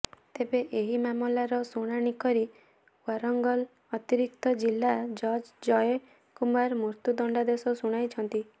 ତେବେ ଏହି ମାମଲାର ଶୁଣାଣି କରି ଓ୍ବାରଙ୍ଗଲ ଅତିରିକ୍ତ ଜିଲ୍ଲା ଜଜ୍ ଜୟ କୁମାର ମୃତ୍ୟୁ ଦଣ୍ଡାଦେଶ ଶୁଣାଇଛନ୍ତି